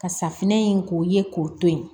Ka safinɛ in k'o ye k'o to ye